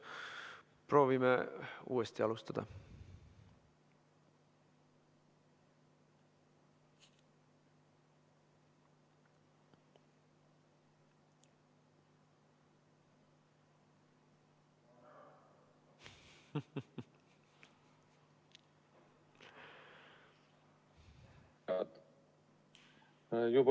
Proovime uuesti alustada.